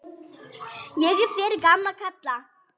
Ég er fyrir gamla kalla.